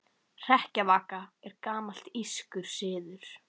Hrekkjavaka er gamall írskur siður.